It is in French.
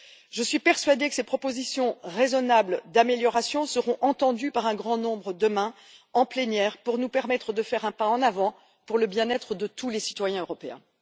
Je suis persuadée que ces propositions raisonnables d'améliorations seront entendues par un grand nombre, demain en plénière, afin de nous permettre de faire un pas en avant pour le bien être de tous les citoyens européens.